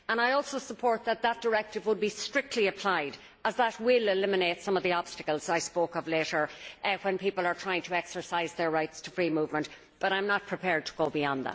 I also support that this directive should be strictly applied, as that will eliminate some of the obstacles I spoke of, when people are trying to exercise their rights to free movement, but I am not prepared to go beyond that.